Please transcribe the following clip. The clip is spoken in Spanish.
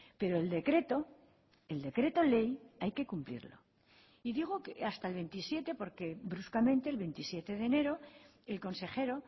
pero el decreto el decreto ley hay que cumplirlo y digo que hasta el veintisiete porque bruscamente el veintisiete de enero el consejero